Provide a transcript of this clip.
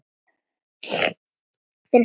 Finnst henni.